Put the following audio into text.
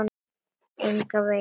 Engan veginn